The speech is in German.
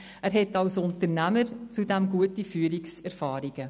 Er hat als Unternehmer zudem gute Führungserfahrungen.